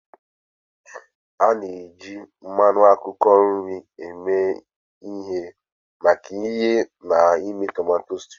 A na-eji mmanụ akwụkwọ nri eme ihe maka ighe na ime tomato stew.